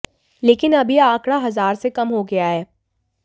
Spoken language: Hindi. लेकिन अब यह आंकड़ा हजार से कम हो गया है